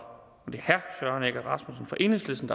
enhedslisten